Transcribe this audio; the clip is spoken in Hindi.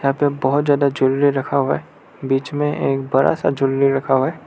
यहां पे बहोत ज्यादा ज्वेलरी रखा हुआ है बीच में एक बड़ा सा ज्वेलरी रखा है।